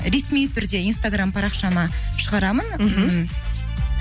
ресми түрде инстаграм парақшама шығарамын